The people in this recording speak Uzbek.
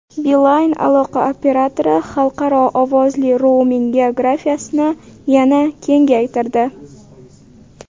Beeline aloqa operatori xalqaro ovozli rouming geografiyasini yana kengaytirdi.